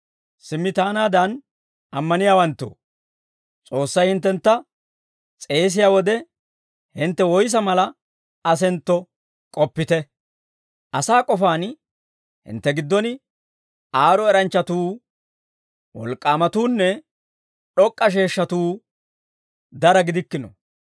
Simmi taanaadan ammaniyaawanttoo, S'oossay hinttentta s'eesiyaa wode hintte woyssa mala asentto k'oppite. Asaa k'ofaan hintte giddon aad'd'o eranchchatuu, wolk'k'aamatuunne d'ok'k'a sheeshshatuu dara gidikkino.